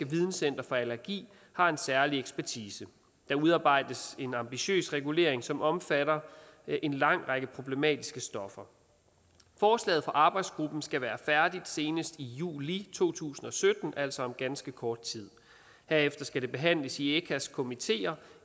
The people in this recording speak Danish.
videncenter for allergi har en særlig ekspertise der udarbejdes en ambitiøs regulering som omfatter en lang række problematiske stoffer forslaget fra arbejdsgruppen skal være færdigt senest i juli to tusind og sytten altså om ganske kort tid herefter skal det behandles i echas komiteer